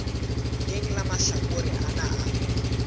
leng la mahlakore ana a